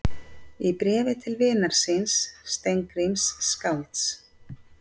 Í bréfi til vinar síns, Steingríms skálds